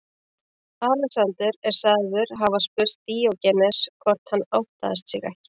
Alexander er sagður hafa spurt Díógenes hvort hann óttaðist sig ekki.